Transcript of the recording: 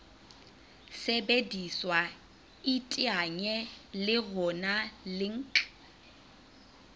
sebediswa iteanye le rona link